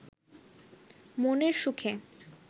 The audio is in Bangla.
মনের সুখে